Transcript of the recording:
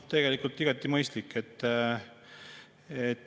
Igati mõistlik.